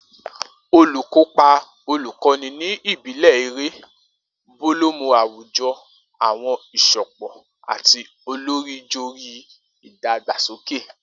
Olukopa olukoni ni ibile ere, bolomo awujo awọn isopọ ati olorijori idagbasoke.